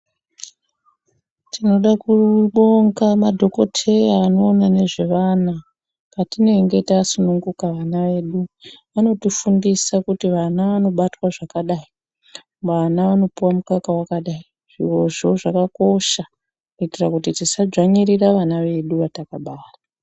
Tinoda kubonga madhokotheya anoona nezvevana, patinenge tasununguka vana vedu. Vanotifundisa kuti vana vanobatwa zvakadai, vana vanopuwa mumukaka wakadai. Zvirozvo zvakakosha ,kuitira kuti tisadzvanyirira vana vedu vatakabara.